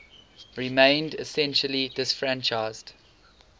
remained essentially disfranchised